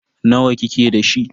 Nawa kike da shi?